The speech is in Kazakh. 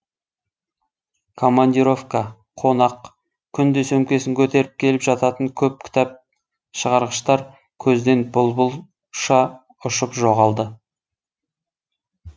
командировка қонақ күнде сөмкесін көтеріп келіп жататын көп кітап шығарғыштар көзден бұлбұл ұшып жоғалды